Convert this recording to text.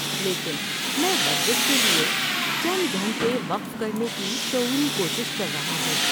لیکن میں ورزش کے لیے چند گھنٹے وقف کرنے کی شعوری کوشش کر رہا ہوں۔